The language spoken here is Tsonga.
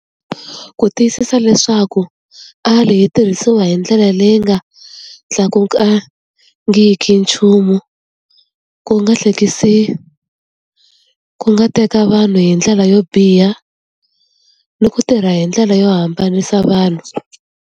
Ku tiyisisa leswaku yi tirhisiwa hi ndlela leyi nga tlakukangiki nchumu ku nga hlekisi ku nga teka vanhu hi ndlela yo biha ni ku tirha hi ndlela yo hambanisa vanhu.